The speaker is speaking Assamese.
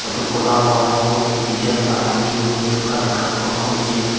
ফটো খনত সৰ্বমুঠ তিনিজন মানুহ থিয় হৈ থকা দেখা পোৱা গৈছে।